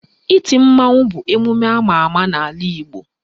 Iti mmanwụ bụ emume ama ama n'ala Igbo